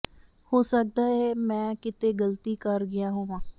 ਹੋ ਸਕਦਾ ਹੈ ਮੈਂ ਕਿਤੇ ਗਲਤੀ ਕਰ ਗਿਆ ਹੋਵਾਂ